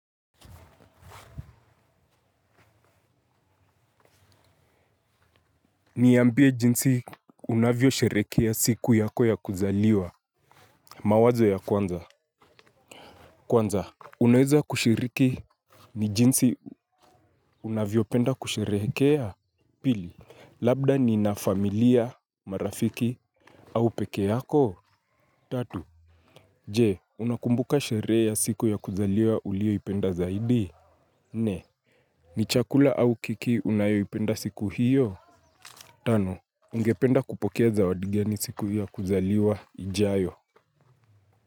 Niambie jinsi unavyo sherehekea siku yako ya kuzaliwa. Mawazo ya kwanza kwanza, unaweza kushiriki. Ni jinsi unavyo penda kusherehekea. Pili, labda nina familia, marafiki. Au peke yako, tatu je unakumbuka sherehe ya siku ya kuzaliwa uliyoipenda zaidi. Nne, ni chakula au keki unayoipenda siku hiyo. Tano ungependa kupokea zawadi gani siku hiyo ya kuzaliwa ijayo.